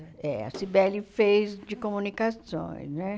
É, a Cybele fez de comunicações, né?